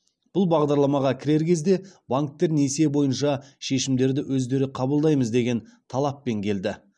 бұл бағдарламаға кірер кезде банктер несие бойынша шешімдерді өздері қабылдаймыз деген талаппен келді